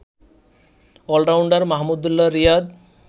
allrounder Mahmudullah Riyad